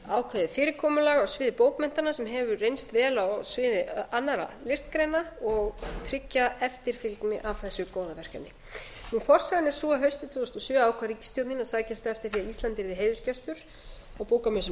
ákveðið fyrirkomulag á sviði bókmennta sem hefur reynst vel á sviði annarra listgreina og tryggja eftirfylgni af þessu góða verkefni forsagan er sú að haustið tvö þúsund og sjö ákvað ríkisstjórnin að sækjast eftir því að ísland yrði heiðursgestur á bókamessunni í